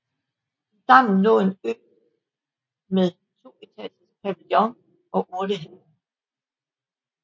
I dammen lå en ø med en toetagers pavillion og urtehave